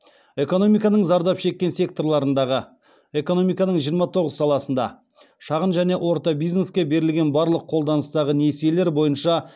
экономиканың зардап шеккен секторларындағы шағын және орта бизнеске берілген барлық қолданыстағы несиелер бойынша